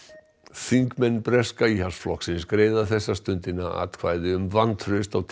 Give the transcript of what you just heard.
þingmenn breska Íhaldsflokksins greiða þessa stundina atkvæði um vantraust á